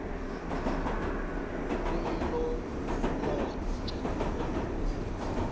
kumhlolonja